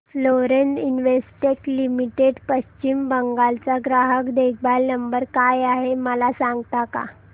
Florence Investec limited पश्चिम बंगाल चा ग्राहक देखभाल नंबर काय आहे मला सांगता का